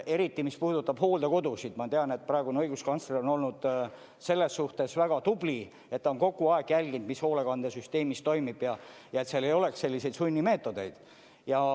Eriti, mis puudutab hooldekodusid – ma tean, et praegune õiguskantsler on olnud selles suhtes väga tubli, et ta on kogu aeg jälginud, mis hoolekandesüsteemis toimub ja et seal ei oleks selliseid sunnimeetodeid.